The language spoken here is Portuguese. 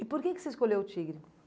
E por que que você escolheu o Tigre?